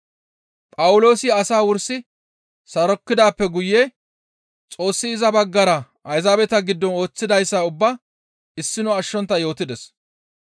Phawuloosi asaa wursi sarokkidaappe guye Xoossi iza baggara Ayzaabeta giddon ooththidayssa ubbaa issino ashshontta yootides.